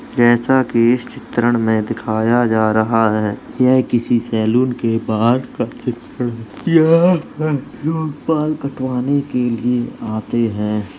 जैसा की इस चित्रण में दिखाया जा रहा है। ये किसी सैलून के बाहर का चित्र है। यहाँ बाल कटवाने के लिए आते हैं।